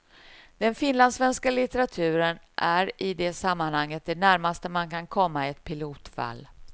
Den finlandssvenska litteraturen är i det sammanhanget det närmaste man kan komma ett pilotfall.